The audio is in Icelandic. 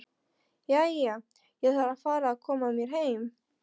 Jæja, ég þarf að fara að koma mér heim